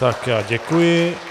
Tak já děkuji.